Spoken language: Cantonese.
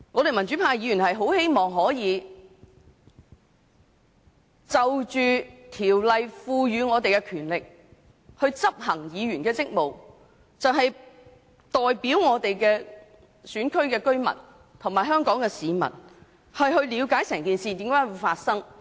民主派議員很希望可以運用《條例》所賦予的權力，執行議員的職務，代表我們選區的居民及香港市民了解整件事的來龍去脈。